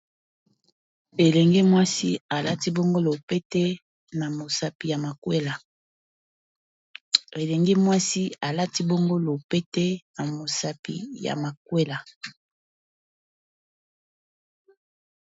elenge mwasi alati bongolo pete na mosapi ya makwela